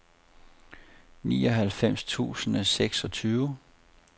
nioghalvfems tusind og seksogtyve